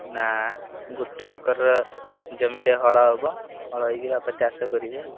ନା ଗୋଟେ ଏକରର ଜମିରେ ହଳ ହବ ହଳ ହେଇକି ବାପା ଚାଷ କରିବେ ଆଉ।